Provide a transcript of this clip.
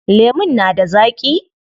Lemun na da zaaƙi?